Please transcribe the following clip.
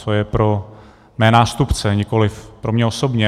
Co je pro mé nástupce, nikoliv pro mě osobně.